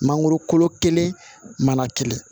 Mangoro kolo kelen mana tile